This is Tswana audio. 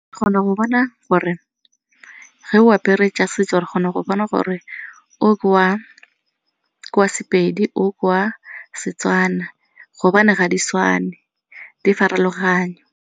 go bona gore ge o apere tsa setso re kgona go bona gore o ke wa sePedi, o ke wa seTswana gobane ga di tshwane, di farologane.